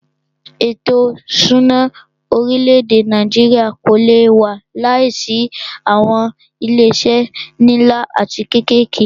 Ètò ìṣúná orílẹ̀-èdè Nàìjíríà kò lé wà láìsí awọn ilé iṣé nlá atí kékèké.